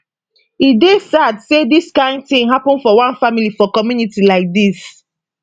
e dey sad say dis kain tin happun for one family for community like dis